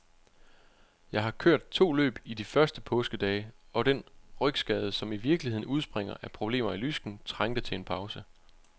Jeg har kørt to løb i de første påskedage, og den rygskade, som i virkeligheden udspringer af problemer i lysken, trængte til en pause.